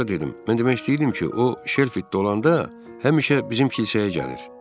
Sonra dedim, mən demək istəyirdim ki, o Şelfidə olanda həmişə bizim kilsəyə gəlir.